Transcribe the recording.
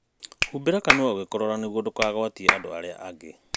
Hubĩra kanũa ũgĩkoroa nĩguo ndũkagwatie andu arĩa angi.